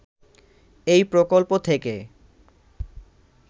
এই প্রকল্প থেকে